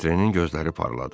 Votrenin gözləri parladı.